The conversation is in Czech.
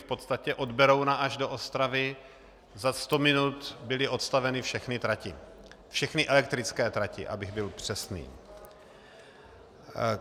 V podstatě od Berouna až do Ostravy za 100 minut byly odstaveny všechny tratě, všechny elektrické tratě, abych byl přesný.